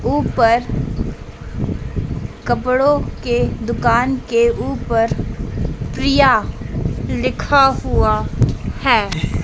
ऊपर कपड़ों के दुकान के ऊपर प्रिया लिखा हुआ है।